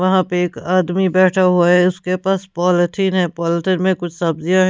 वहां पे एक आदमी बैठा हुआ है उसके पास पॉलिथिन है पॉलिथिन में कुछ सब्जियां--